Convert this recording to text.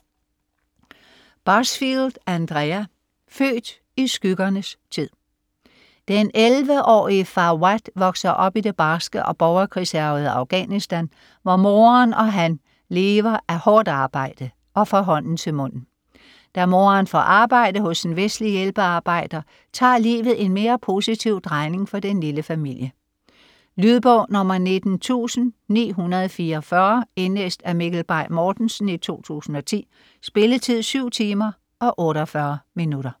Busfield, Andrea: Født i skyggernes tid Den 11-årige Fawad vokser op i det barske og borgerkrigshærgede Afghanistan, hvor moderen og han lever af hårdt arbejde og fra hånden til munden. Da moderen får arbejde hos en vestlig hjælpearbejder, tager livet en mere positiv drejning for den lille familie. Lydbog 19944 Indlæst af Mikkel Bay Mortensen, 2010. Spilletid: 7 timer, 48 minutter.